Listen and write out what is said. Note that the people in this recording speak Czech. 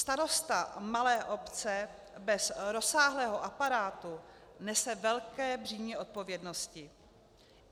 Starosta malé obce bez rozsáhlého aparátu nese velké břímě odpovědnosti.